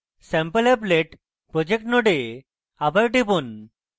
sampleapplet project node আবার টিপুন